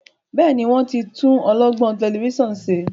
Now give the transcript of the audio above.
Béèni wón tún olọgbọn Tẹlifíṣàn ṣe?